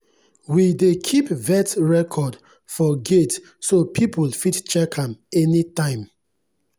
we dey keep vet record for gate so people fit check am anytime.